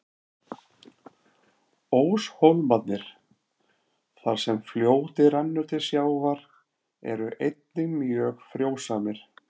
Óshólmarnir, þar sem fljótið rennur til sjávar, eru einnig mjög frjósamir.